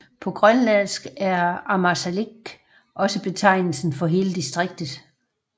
På grønlandsk er Ammassalik også betegnelsen for hele distriktet